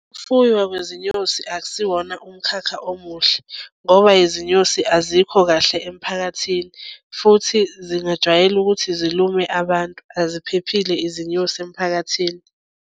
Fuywa kwezinyosi akusiwona umkhakha omuhle, ngoba izinyosi azikho kahle emphakathini futhi zingajwayele ukuthi zilume abantu. Aziphephile izinyosi emphakathini.